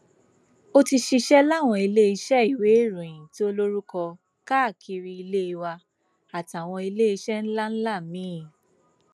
ó ti ṣiṣẹ láwọn iléeṣẹ ìwéèròyìn tó lórúkọ káàkiri ilé wa àtàwọn iléeṣẹ ńlá ńlá míín